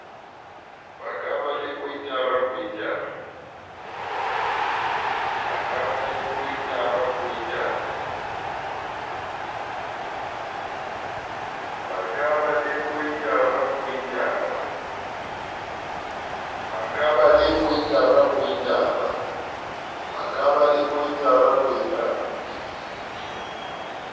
ka ba le koitara koitara